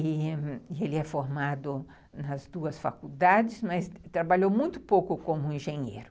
E ele é formado nas duas faculdades, mas trabalhou muito pouco como engenheiro.